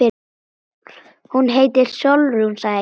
Hún heitir Sólrún, sagði ég.